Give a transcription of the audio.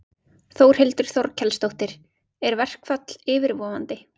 Þórhildur Þorkelsdóttir: Er verkfall yfirvofandi?